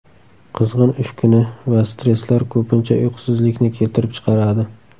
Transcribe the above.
Qizg‘in ish kuni va stresslar ko‘pincha uyqusizlikni keltirib chiqaradi.